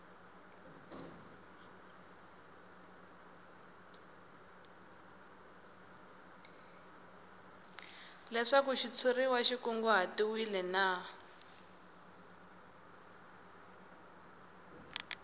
leswaku xitshuriwa xi kunguhatiwile na